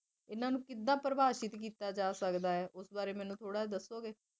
ਇਨ੍ਹਾਂ ਨੂੰ ਕਿੱਦਾਂ ਪ੍ਰਭਾਸ਼ਿਤ ਕੀਤਾ ਜਾ ਸਕਦਾ ਹੈ ਇਸ ਬਾਰੇ ਚ ਮੈਨੂੰ ਥੋੜ੍ਹਾ ਦੱਸੋਗੇ